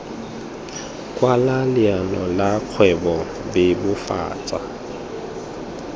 kwala leano la kgwebo bebofatsa